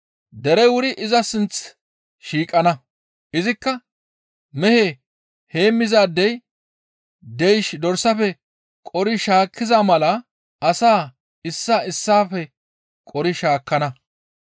Derey wuri iza sinththi shiiqana; izikka mehe heemmizaadey deysh dorsafe qori shaakkiza mala asaa issaa issaafe qori shaakkana.